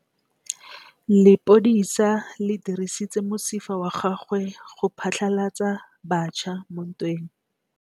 Lepodisa le dirisitse mosifa wa gagwe go phatlalatsa batšha mo ntweng.